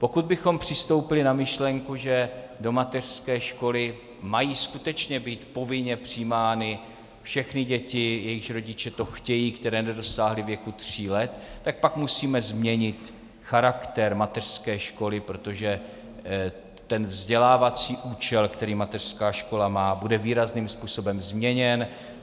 Pokud bychom přistoupili na myšlenku, že do mateřské školy mají skutečně být povinně přijímány všechny děti, jejichž rodiče to chtějí, které nedosáhly věku tří let, tak pak musíme změnit charakter mateřské školy, protože ten vzdělávací účel, který mateřská škola má, bude výrazným způsobem změněn.